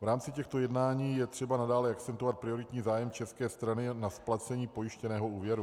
V rámci těchto jednání je třeba nadále akcentovat prioritní zájem české strany na splacení pojištěného úvěru.